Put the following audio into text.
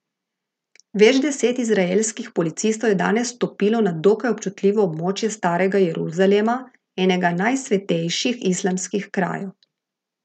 Več deset izraelskih policistov je danes vstopilo na dokaj občutljivo območje starega Jeruzalema, enega najsvetejših islamskih krajev.